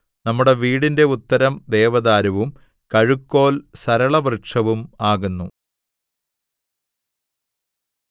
നമ്മുടെ വീടിന്റെ ഉത്തരം ദേവദാരുവും കഴുക്കോൽ സരളവൃക്ഷവും ആകുന്നു